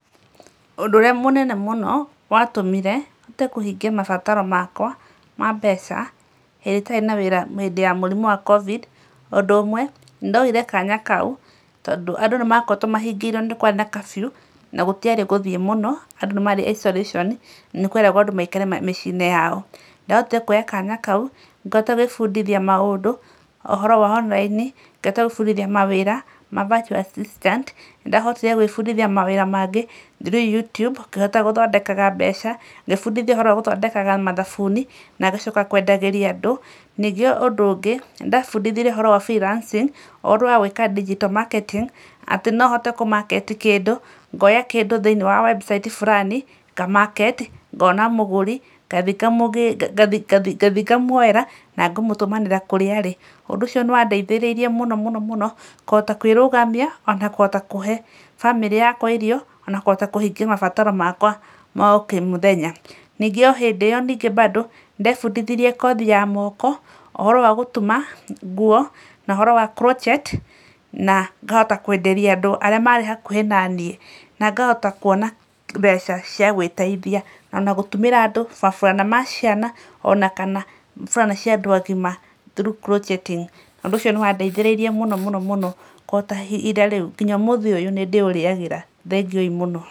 Ũndũ ũrĩa mũnene mũno watũmire hote kũhingia mabataro makwa ma mbeca hĩndĩ ĩrĩa itarĩ na wĩra hĩndĩ ya mũrimũ wa covid[cs, ũndũ ũmwe, nĩ ndoire kanya kau tondũ andũ nĩ makoretwo mahingĩirwo, nĩ kwarĩ na curfew, na gũtiarĩ gũthiĩ mũno, andũ nĩ maarĩ isolation, nĩ kweragwo andũ maikare mĩcii-inĩ yao. Nĩ ndahotire kũoya kanya kau, ngĩhota gwĩbundithia maũndũ, ũhoro wa online, ngĩhota gwĩbundithia mawĩra ma virtual assistant, nĩ ndahotire gwĩbundithia mawĩra mangĩ through YouTube, ngĩhota gũthondekaga mbeca. Ngĩĩbundithia ũhoro wa gũthondekaga mathabuni na ngacoka kwendagĩria andũ. Ningĩ ũndũ ũngĩ, nĩ ndeebundithirie ũhoro wa freelancing, ũhoro wa gwĩka digital marketing, atĩ no hote kũ market kĩndũ, ngaoya kĩndũ thĩiniĩ wa website fulani, nga market, ngaona mũgũri, ngathi ngamũgĩrĩra ngathi ngathi ngamũoera na ngamũtũmanĩra kũrĩa arĩ. Ũndũ ũcio nĩ wa ndeithĩrĩirie mũno mũno mũno kũhota kwĩrũgamia, o na kũhota kũhe bamĩrĩ yakwa irio, o na kũhota kũhingia mabataro makwa ma o kĩmũthenya. Ningĩ o hĩndĩ ĩyo nĩngĩ bado, nĩ ndeebundithirie kothi ya moko, ũhoro wa gũtuma nguo, na ũhoro wa crotchet na ngahota kwenderia andũ arĩa maarĩ hakuhĩ na niĩ, na ngahota kwona mbeca cai gwĩteithia. O na gũtumĩra andũ maburana ma ciana, o na kana burana cia andũ agima through crotcheting. Ũndũ ucio nĩ wa ndeithĩrĩirie mũno mũno mũno kũhota ihinda rĩu. Nginya ũmũthĩ ũyũ, nĩ ndĩũrĩagira. Thengiũi mũno.